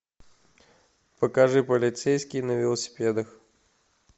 покажи полицейские на велосипедах